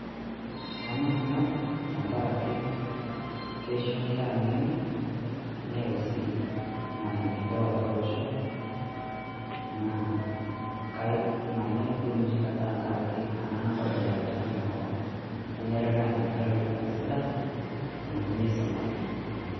Kanyorr ena bae tengaraki keisho enkera eng'eno, neyau sii maendeleo atwa olosho lormasae naa manyorr duo naaji naa nadol enkera enoshi Kata etoni tenkop, kenare Neeta inkera ilorikan sidan tewueji neisumareki.